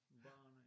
Barene ja